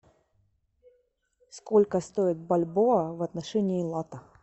сколько стоит бальбоа в отношении лата